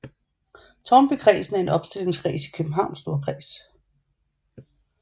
Tårnbykredsen er en opstillingskreds i Københavns Storkreds